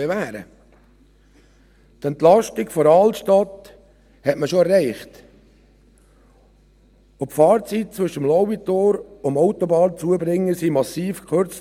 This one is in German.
Die Entlastung der Altstadt hat man schon erreicht, und die Fahrzeit zwischen dem Lauitor und dem Autobahnzubringer wurde massiv verkürzt.